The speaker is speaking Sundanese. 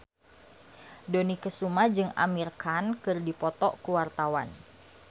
Dony Kesuma jeung Amir Khan keur dipoto ku wartawan